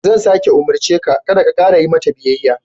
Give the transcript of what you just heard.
Zan sāke umurce ka, kada ka ƙara yi mata biyayya.